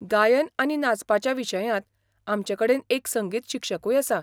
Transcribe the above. गायन आनी नाचपाच्या विशयांत, आमचे कडेन एक संगीत शिक्षकूय आसा.